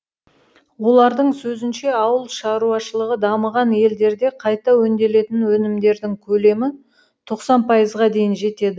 олардың сөзінше ауыл шаруашылығы дамыған елдерде қайта өңделетін өнімдердің көлемі тоқсан пайызға дейін жетеді